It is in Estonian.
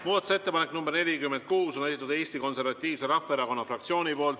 Muudatusettepaneku nr 46 on esitanud Eesti Konservatiivse Rahvaerakonna fraktsioon.